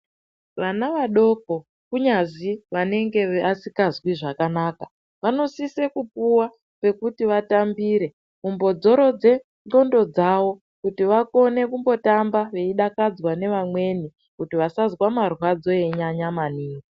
Vana vadoko, kunyazvi vanenge vasingazvi zvakanaka, vanosise kupuwa pekuti vatambire, kumbodzorodze ngxondo dzawo, kuti vakone kumbotamba, veyidakadzva nevamweni kuti vasazva marwadzo eyinyanya maningi.